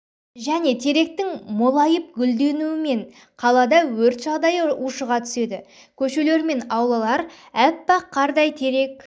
және теректің молайып гүлденуімен қалада өрт жағдайы ұшыға түседі көшелер мен аулалар аппақ қардай терек